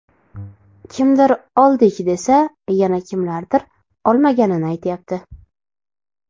Kimdir oldik, desa yana kimlardir olmaganini aytyapti.